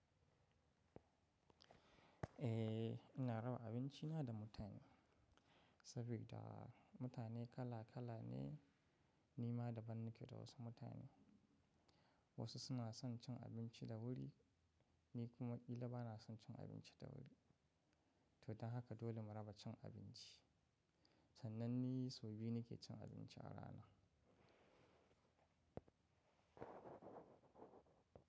Eh, ina raba abinci na da mutane saboda mutane kala kala ne. Ni ma daban nake da wasu mutane. Wasu suna son cin abinci da wuri, ni kuma ƙila bana son cin abinci da wuri. To don haka dole mu raba cin abinci. Sannan ni sau biyu nake cin abinci a rana.